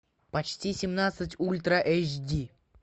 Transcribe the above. почти семнадцать ультра эйч ди